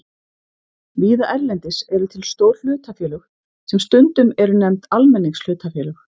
Víða erlendis eru til stór hlutafélög sem stundum eru nefnd almenningshlutafélög.